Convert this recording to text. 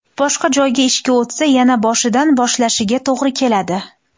Boshqa joyga ishga o‘tsa, yana boshidan boshlashiga to‘g‘ri keladi.